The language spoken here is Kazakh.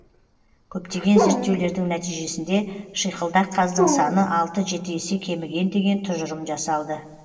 көптеген зерттеулердің нәтижесінде шиқылдақ қаздың саны алты жеті есе кеміген деген тұжырым жасалды